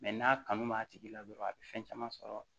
n'a kanu b'a tigi la dɔrɔn a bɛ fɛn caman sɔrɔ